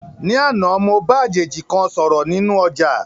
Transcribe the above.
Ní àná, mo bá àjèjì kan sọ̀rọ̀ nínú ọ̀jà